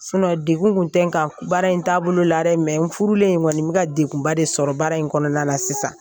degun tun tɛ n kan baara in taabolo la dɛ n furulen kɔni n bɛ ka degunba de sɔrɔ baara in kɔnɔna na sisan